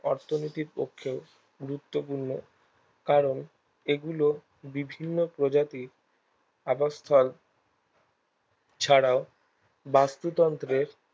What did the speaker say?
অর্থনীতির পক্ষে গুরুত্বপূর্ণ কারণ এগুলো বিভিন্ন প্রজাতির আবাসস্থল ছাড়াও বাস্তুতন্ত্রের